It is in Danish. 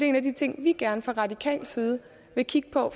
en af de ting vi gerne fra radikal side vil kigge på